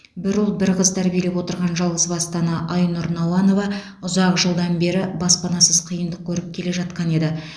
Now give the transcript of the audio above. бір ұл бір қыз тәрбиелеп отырған жалғызбасты ана айнұр науанова ұзақ жылдан бері баспанасыз қиындық көріп келе жатқан еді